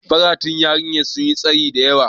Faratun yarinyar sun yi tsayi da yawa.